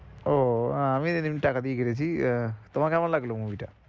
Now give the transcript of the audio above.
ও আহ আমিও সেদিন টাকা দিয়েই কেটেছি, আহ তোমার কেমন লাগলো movie টা?